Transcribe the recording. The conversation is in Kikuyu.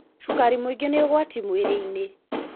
Cukari mũingĩ nĩ ũgwati mwĩrĩ-inĩ.